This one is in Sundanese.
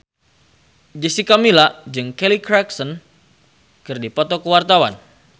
Jessica Milla jeung Kelly Clarkson keur dipoto ku wartawan